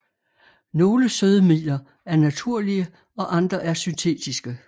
Nogle sødemidler er naturlige og andre er syntetiske